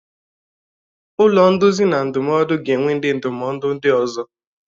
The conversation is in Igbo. Ụlọ nduzi na ndụmọdụ ga-enwe ndị ndụmọdụ ndị ọzọ.